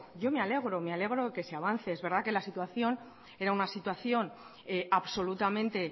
yo me alegro de que se avance es verdad que la situación era una situación absolutamente